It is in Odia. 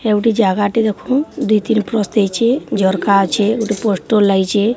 ହେଉଁଟି ଜାଗାଟେ ଦୁଇ ତିନ ପ୍ରସ୍ତ ଦେଇଛେ ଝରକା ଅଛେ ଗୋଟେ ପୋଷ୍ଟର୍ ଲାଗିଛେ --